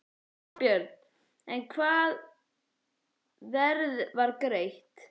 Þorbjörn: En hvaða verð var greitt?